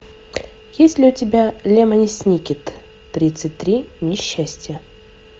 есть ли у тебя лемони сникет тридцать три несчастья